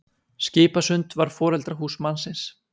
Skipasund var foreldrahús mannsins.